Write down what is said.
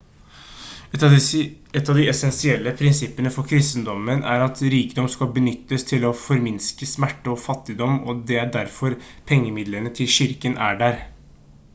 et av de essensielle prinsippene for kristendommen er at rikdom skal benyttes til å forminske smerte og fattigdom og det er derfor pengemidlene til kirken er der